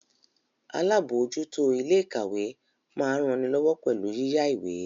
Alábòójútó ilé ìkàwé máa ń ranilọ́wọ́ pẹ̀lú yíyá ìwé